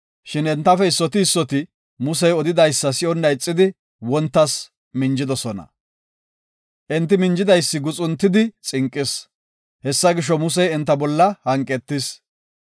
Shin entafe issoti issoti Musey odidaysa si7onna ixidi wontas minjidosona. Enti minjidaysi guxuntidi xinqis. Hessa gisho, Musey enta bolla hanqetis.